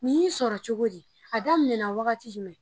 Nin y'i sɔrɔ cogo di , a daminɛna wagati jumɛn.